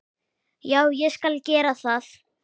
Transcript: já, ég skal gera það.